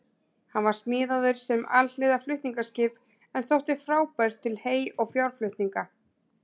Hann var smíðaður sem alhliða flutningaskip en þótti frábær til hey- og fjárflutninga.